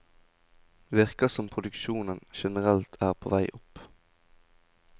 Det virker som produksjonen generelt er på vei opp.